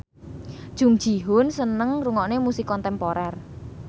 Jung Ji Hoon seneng ngrungokne musik kontemporer